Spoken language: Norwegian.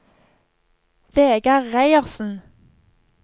Vegar Reiersen